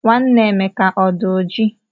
Nwanne Emeka ọdi oji?